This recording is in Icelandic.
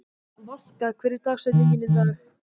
Valka, hver er dagsetningin í dag?